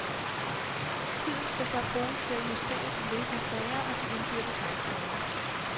Tiden skal så bruges til at justere de løbende sager og de indbyrdes magtforhold.